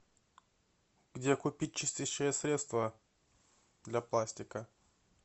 где купить чистящее средство для пластика